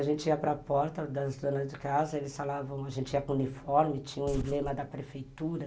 A gente ia para a porta das donas de casa, eles falavam, a gente ia com uniforme, tinha o emblema da prefeitura.